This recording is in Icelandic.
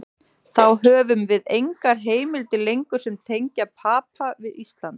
Þá höfum við engar heimildir lengur sem tengja Papa við Ísland.